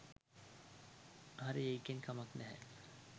හරි එකෙන් කමක් නැහැ